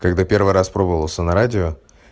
когда первый раз пробовался на радио